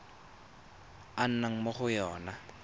a nnang mo go yona